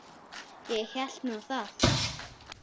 Ég hélt nú það.